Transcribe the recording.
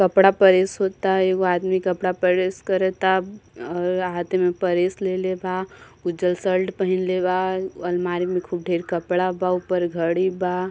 कपडा प्रेस होता एगो आदमी कपडा प्रेस करता और हाथे में प्रेस लेलेबा उज्जर शर्ट पहिनले बा अलमारी में खूब ढेर कपडा बा ओहिपर घड़ी बा |